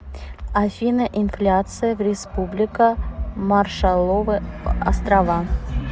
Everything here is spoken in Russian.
афина инфляция в республика маршалловы острова